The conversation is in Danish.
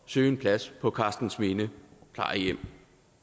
søge en plads på karstensminde plejehjem